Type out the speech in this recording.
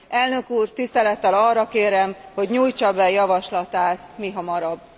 Elnök úr, tisztelettel arra kérem, hogy nyújtsa be javaslatát mihamarabb.